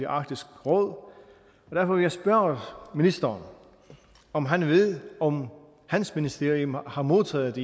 arktiske råd derfor vil jeg spørge ministeren om han ved om hans ministerium har har modtaget